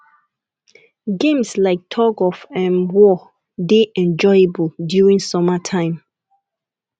games like tug of um war dey enjoyable during summer time